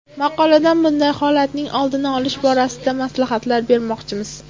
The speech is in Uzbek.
Maqolada bunday holatning oldini olish borasida maslahatlar bermoqchimiz.